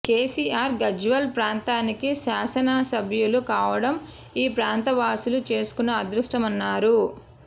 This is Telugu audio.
కెసిఆర్ గజ్వేల్ ప్రాంతానికి శాసన సభ్యులు కావడం ఈ ప్రాంతవాసులు చేసుకున్న అదృష్టమన్నారు